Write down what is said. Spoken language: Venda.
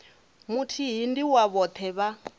muthihi ndi wa vhoṱhe vha